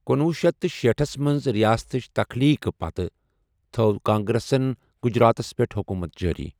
کنۄہ شیتھ تہٕ شیٹھس منٛز ریاستٕچ تَخلیٖق پتہٕ تھو کانگریسنَ گجراتس پٮ۪ٹھ حکوٗمت جٲری۔